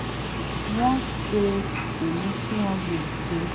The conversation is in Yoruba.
wọ́n ṣe èyí tí wọ́n lè ṣe